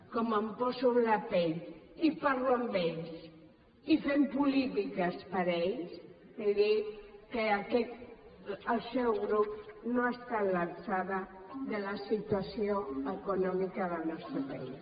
com em poso en la pell i parlo amb ells i fem polítiques per a ells li dic que el seu grup no està a l’alçada de la situació econòmica del nostre país